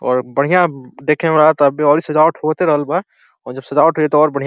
और बढ़ियां देखे में लगता। अब्बे औरे सजावट होते रहल बा और जब सजावट हो जाई त और बढ़ियां --